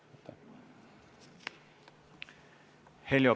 Heljo Pikhof, palun!